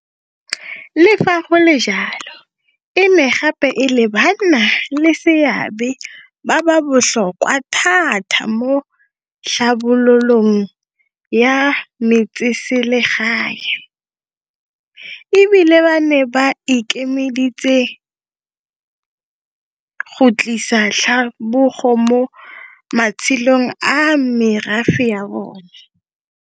Le fa go le jalo, e ne gape e le banna le seabe ba ba botlhokwa thata mo tlhabololong ya metseselegae, e bile ba ne ba ikemiseditse go tlisa tlhabologo mo matshelong a merafe ya bona.